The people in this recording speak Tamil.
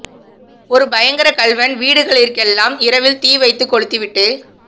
ஒரு பயங்கரக் கள்வன் வீடுகளிற்கெல்லாம் இரவில் தீவைத்து கொழுத்தி விட்டு